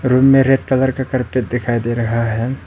Room मे red colour का carpet दिखाई दे रहा है।